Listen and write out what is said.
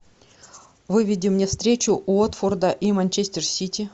выведи мне встречу уотфорда и манчестер сити